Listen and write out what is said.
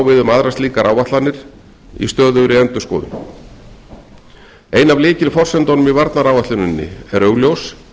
við aðrar slíkar áætlanir í stöðugri endurskoðun ein af lykilforsendunum í varnaráætluninni er augljós